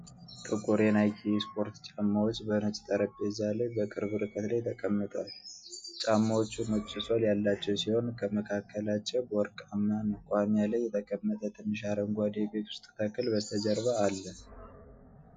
ጥቁር የናይኪ ስፖርት ጫማዎች በነጭ ጠረጴዛ ላይ በቅርብ ርቀት ላይ ተቀምጠዋል። ጫማዎቹ ነጭ ሶል ያላቸው ሲሆን ከመካከላቸው በወርቃማ መቆሚያ ላይ የተቀመጠ ትንሽ አረንጓዴ የቤት ውስጥ ተክል በስተጀርባ አለ።